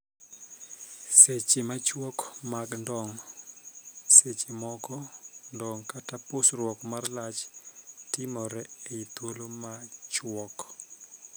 Seche machuok mag ndong'. Seche moko, ndong' kata pusruok mar lach timore ei thuolo machuok.